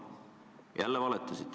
Jälle valetasite.